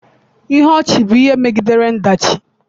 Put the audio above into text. Ihe ọchị bụ ihe megidere ọdachi.